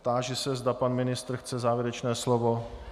Táži se, zda pan ministr chce závěrečné slovo.